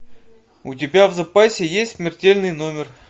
у тебя в запасе есть смертельный номер